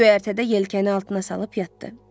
Göyərtədə yelkəni altına salıb yatdı.